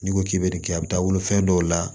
N'i ko k'i bɛ bɛ nin kɛ a bɛ taa wolo fɛn dɔw la